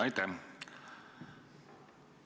Aitäh!